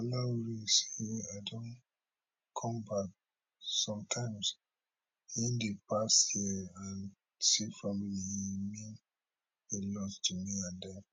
olaore say i don come back some times in di past year and see family e mean a lot to me and dem